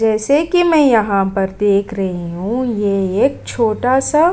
जैसे कि मैं यहाँ पर देख रही हूँ ये एक छोटा-सा --